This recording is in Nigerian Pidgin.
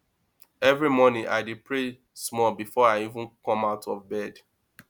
every morning i dey pray small before i even come out of bed